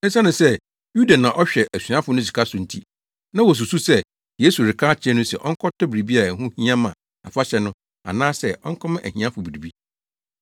Esiane sɛ Yuda na ɔhwɛ asuafo no sika so nti, na wosusuw sɛ Yesu reka akyerɛ no se ɔnkɔtɔ biribi a ɛho hia ma afahyɛ no anaasɛ ɔnkɔma ahiafo biribi.